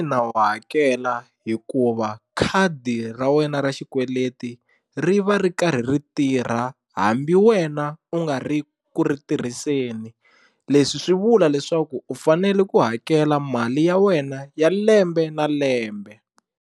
wa hakela hikuva khadi ra wena ra xikweleti ri va ri karhi ri tirha hambi wena u nga ri ku ri tirhiseni leswi swi vula leswaku u fanele ku hakela mali ya wena ya lembe na lembe.